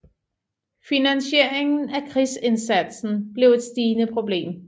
Finansieringen af krigsindsatsen blev et stigende problem